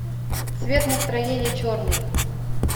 цвет настроения черный